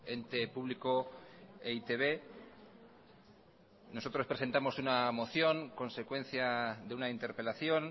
ente público e i te be nosotros presentamos una moción consecuencia de una interpelación